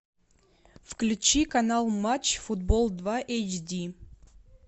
включи канал матч футбол два эйч ди